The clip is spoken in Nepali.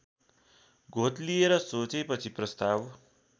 घोत्लिएर सोचेपछि प्रस्ताव